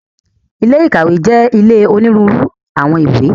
Ilé ìkàwé jẹ́ ilé onírúurú àwọn ìwé.